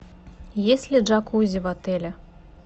есть ли джакузи в отеле